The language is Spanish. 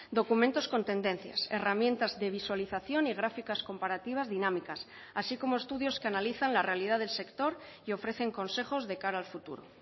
documentos con tendencias herramientas de visualización y gráficas comparativas dinámicas así como estudios que analizan la realidad del sector y ofrecen consejos de cara al futuro